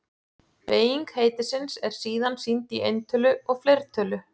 Beyging heitisins er síðan sýnd í eintölu og fleirtölu.